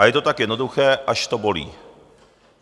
A je to tak jednoduché, až to bolí.